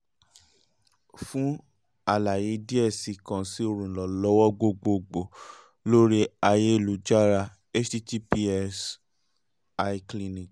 fun alaye diẹ sii kan si oluranlọwọ gbogbogbo lori ayelujara https iclinic